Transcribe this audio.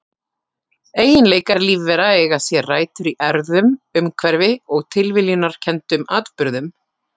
Eiginleikar lífvera eiga sér rætur í erfðum, umhverfi og tilviljunarkenndum atburðum.